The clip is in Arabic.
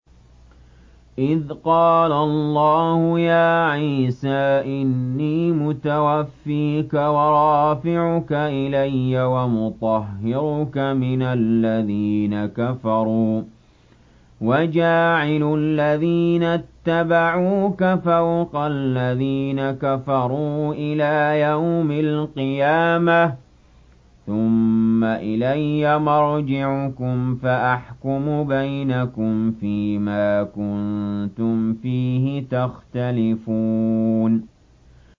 إِذْ قَالَ اللَّهُ يَا عِيسَىٰ إِنِّي مُتَوَفِّيكَ وَرَافِعُكَ إِلَيَّ وَمُطَهِّرُكَ مِنَ الَّذِينَ كَفَرُوا وَجَاعِلُ الَّذِينَ اتَّبَعُوكَ فَوْقَ الَّذِينَ كَفَرُوا إِلَىٰ يَوْمِ الْقِيَامَةِ ۖ ثُمَّ إِلَيَّ مَرْجِعُكُمْ فَأَحْكُمُ بَيْنَكُمْ فِيمَا كُنتُمْ فِيهِ تَخْتَلِفُونَ